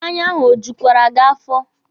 Mmanya ahụ o jukwere gị afọ?